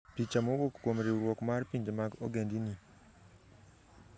Picha mowuok kuom riwruok mar pinje mag ogendini.